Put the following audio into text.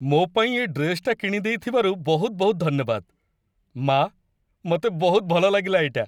ମୋ' ପାଇଁ ଏ ଡ୍ରେସ୍‌ଟା କିଣିଦେଇଥିବାରୁ ବହୁତ ବହୁତ ଧନ୍ୟବାଦ, ମା', ମତେ ବହୁତ ଭଲ ଲାଗିଲା ଏଇଟା ।